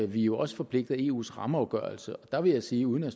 vi er jo også forpligtet af eus rammeafgørelse der vil jeg sige uden at